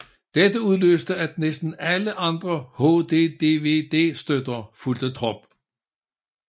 Dette udløste at næsten alle andre HD DVD støtter fulgte trop